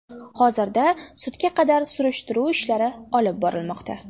Hozirda sudga qadar surishtiruv ishlari olib borilmoqda.